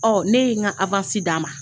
Ɔ ne ye n ka d'a ma